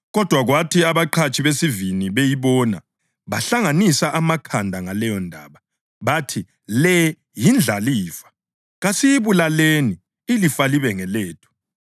Kodwa kwathi abaqhatshi besivini beyibona, bahlanganisa amakhanda ngaleyondaba. Bathi, ‘Le yindlalifa. Kasiyibulaleni, ilifa libe ngelethu.’